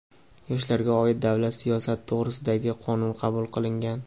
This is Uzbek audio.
"Yoshlarga oid davlat siyosati to‘g‘risida"gi Qonun qabul qilingan.